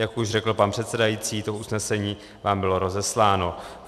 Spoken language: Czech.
Jak už řekl pan předsedající, to usnesení vám bylo rozesláno.